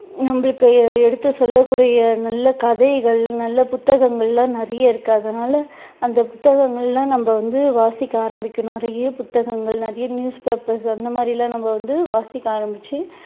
உங்களுக்கு எ~எடுத்து சொல்லக் கூடிய நல்ல கதைகள் நல்ல புத்தகங்கள்லாம் நிறைய இருக்கு அதனால அந்த புத்தகங்கள் எல்லாம் நம்ம வந்து வாசிக்க ஆரம்பிக்கணும் நிறைய புத்தகங்கள் நிறைய newspapers க அந்த மாதிரி எல்லாம் நம்ம வந்து வாசிக்க ஆரம்பிச்சு